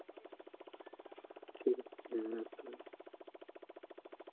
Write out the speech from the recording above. ঠিক আছে হ্যাঁ রাখ রাখ